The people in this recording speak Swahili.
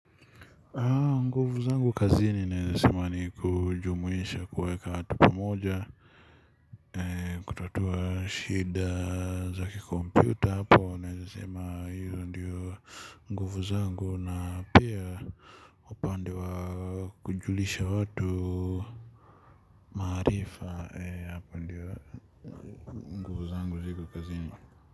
Nguvu zangu kazini naeza sema ni kujumuisha kuweka watu pamoja. Kutatua shida za kikompyuta hapo. Naeze sema hiyo ndiyo nguvu zangu na pia upande wa kujulisha watu maarifa. Nguvu zangu ziko kazini.